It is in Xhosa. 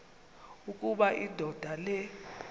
ukuba indoda le